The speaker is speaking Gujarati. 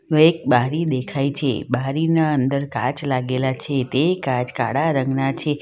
એક બારી દેખાય છે બારીના અંદર કાચ લાગેલા છે તે કાચ કાળા રંગના છે.